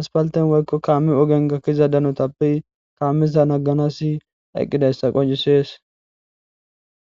haspalten woykko kaami ogen gakkiza danotappe kaameza nagganasi eqqidayssa qoncisees.